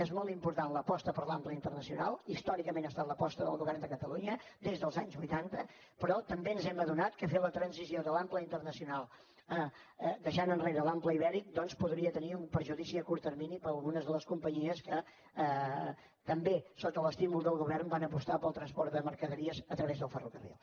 és molt important l’aposta per l’ample internacional històricament ha estat l’aposta del govern de catalunya des dels anys vuitanta però també ens hem adonat que fer la transició de l’ample internacional deixant enrere l’ample ibèric doncs podria tenir un perjudici a curt termini per a algunes de les companyies que també sota l’estímul del govern van apostar pel transport de mercaderies a través del ferrocarril